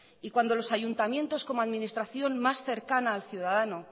y cuando los ayuntamientos como administración más cercana al ciudadano